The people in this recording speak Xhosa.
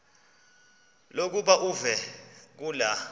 lokuba uve kulaa